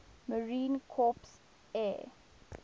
marine corps air